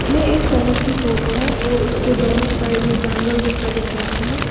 ये एक सड़क की फोटो है और इसके दोनों साइड ये जंगल जैसा दिख रहा है।